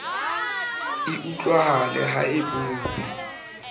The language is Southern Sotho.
e utlwahale ha e bope